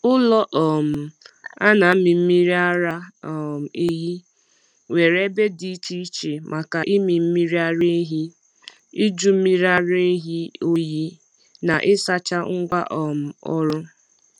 Ụlọ um a na-amị mmiri ara um ehi nwere ebe dị iche iche maka ịmị mmiri ara ehi, ịjụ mmiri ara ehi oyi, na ịsacha ngwa um ọrụ.